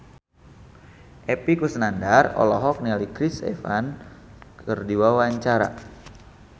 Epy Kusnandar olohok ningali Chris Evans keur diwawancara